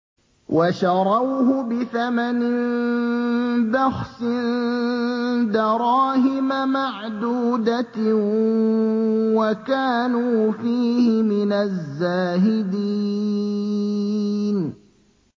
وَشَرَوْهُ بِثَمَنٍ بَخْسٍ دَرَاهِمَ مَعْدُودَةٍ وَكَانُوا فِيهِ مِنَ الزَّاهِدِينَ